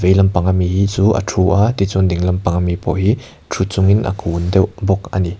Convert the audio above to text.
vei lampang a mi hi chu a thu a tichuan ding lampang a mi pawh hi thu chungin a kun deuh bawk ani .